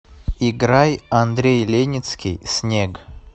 играй андрей леницкий снег